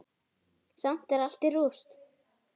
Samt er allt í rúst.